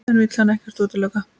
En vill hann ekkert útiloka?